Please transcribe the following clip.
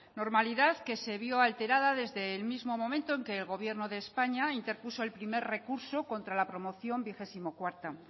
normalidad que se vio alterada desde el mismo momento en que el gobierno de españa interpuso el primer recurso contra la promoción veinticuatro